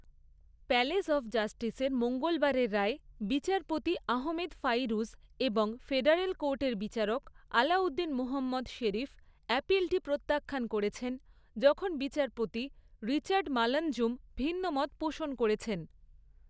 Palace of জাস্টিসের মঙ্গলবারের রায়ে, বিচারপতি আহমেদ ফাইরুজ এবং ফেডারেল কোর্টের বিচারক আলাউদ্দিন মোহম্মদ শেরিফ অ্যাপিলটি প্রত্যাখ্যান করেছেন, যখন বিচারপতি রিচার্ড মালাঞ্জুম ভিন্নমত পোষণ করেছেন।